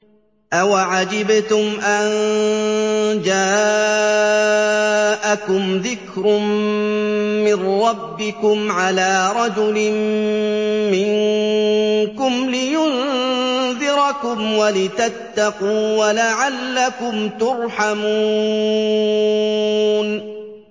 أَوَعَجِبْتُمْ أَن جَاءَكُمْ ذِكْرٌ مِّن رَّبِّكُمْ عَلَىٰ رَجُلٍ مِّنكُمْ لِيُنذِرَكُمْ وَلِتَتَّقُوا وَلَعَلَّكُمْ تُرْحَمُونَ